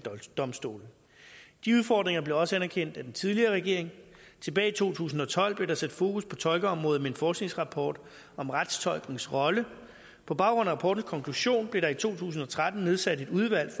domstole de udfordringer blev også anerkendt af den tidligere regering tilbage i to tusind og tolv blev der sat fokus på tolkeområdet i en forskningsrapport om retstolkens rolle på baggrund af rapportens konklusion blev der i to tusind og tretten nedsat et udvalg